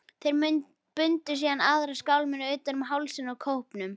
Þeir bundu síðan aðra skálmina utan um hálsinn á kópnum.